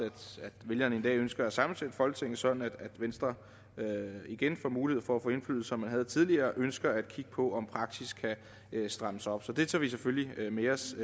vælgerne en dag ønsker at sammensætte folketinget sådan at venstre igen får mulighed for at få indflydelse som de havde tidligere ønsker at kigge på om praksis kan strammes op så det tager vi selvfølgelig med os